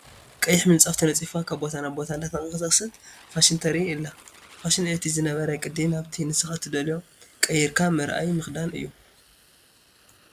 ቀይሕ ምፃፍ ተነፂፉዋ ካብ ቦታ ናብ ቦታ እንዳተቃሳቀሰት ፋሽን ተርኢ ኣላ። ፋሽን እቲ ዝነበረ ቅዲ ናብቲ ንስካ እትደልዮ ቀየርካ ምርኣይ ምክዳን እዩ።